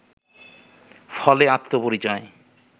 ফলে আত্মপরিচয়